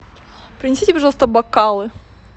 принесите пожалуйста бокалы